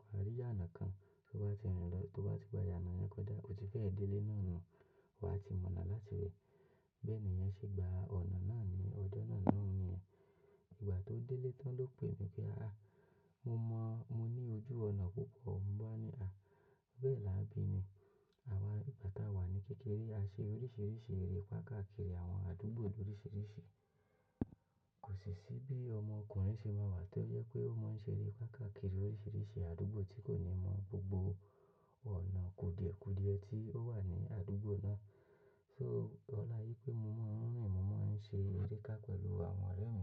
wà á rí iyànà kan. Tó bá ti rìn lọ, tó bá ti gba iyànà yẹn kọjá, o ti fẹ́ dé ilé náà náà. Wà á ti mọ̀ ọ̀nà láti rin Bẹ́ẹ̀ ni ìyẹn ṣe gba ọ̀nà náà ní ọjọ́ naa lohun ni yẹ̀n Ìgbà tó délé tán ló pè mí pé, "Ah, mo mọ̀, mo ní ojú ọ̀nà púpọ̀." Mo bá ní, "Ah, bẹ́ẹ̀ la bí ni." Àwa ìgbà táa wà ní kékeré, a ṣe oríṣìíríṣìí erépa káàkiri àwọn àdúgbò lóriṣìíríṣìí. Kò sì sí bí ọmọkùnrin ṣe máa wà tí ó yẹ pé ó máa ń ṣe erépa káàkiri oríṣìíríṣìí àdúgbò tí kò ní mọ̀ gbogbo ọ̀nà kúdìẹ̀ kúdìẹ̀ tí ó wà ní àdúgbò náà. So ọlá wí pé mo mọ̀ ń rìn, mo máa ń ṣe eré ká pẹ̀lú àwọn ọ̀rẹ́ mi.